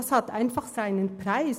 So etwas hat seinen Preis.